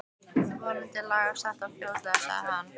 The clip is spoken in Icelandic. Vonandi lagast það fljótlega sagði hann.